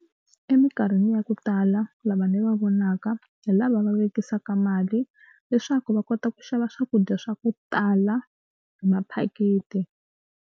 Emikarhini ya ku tala lava ni va vonaka hi lava va vekisaka mali leswaku va kota ku xava swakudya swa ku tala hi maphaketi.